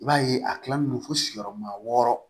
I b'a ye a kilalen don fo siyɔrɔma wɔɔrɔ